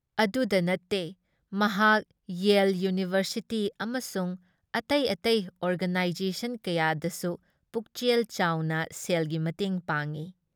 ꯑꯗꯨꯇ ꯅꯠꯇꯦ ꯃꯍꯥꯛ ꯌꯦꯜ ꯏꯌꯨꯅꯤꯚꯔꯁꯤꯇꯤ ꯑꯃꯁꯨꯡ ꯑꯇꯩ ꯑꯇꯩ ꯑꯣꯔꯒꯅꯥꯏꯖꯦꯁꯟ ꯀꯌꯥꯗꯁꯨ ꯄꯨꯛꯆꯦꯜ ꯆꯥꯎꯅ ꯁꯦꯜꯒꯤ ꯃꯇꯦꯡ ꯄꯥꯡꯏ ꯫